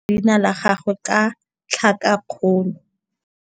Moithuti o ithutile go simolola go kwala leina la gagwe ka tlhakakgolo.